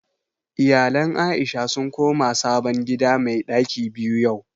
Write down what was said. Iyalan Aisha sun koma sabon gida mai ɗaki biyu yau